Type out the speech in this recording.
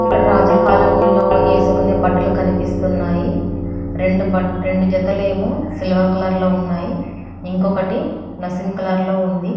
ఇక్కడ రాజుల కాలంలో వేసుకునే బట్టలు కనిపిస్తున్నాయి రెండు బట్ట రెండు జతలు ఏమో సిల్వర్ కలర్ లో ఉన్నాయి ఇంకొకటి ఏమో నసీమ్ కలర్ లో ఉంది.